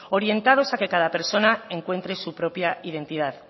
orientados a que cada persona encuentre su propia identidad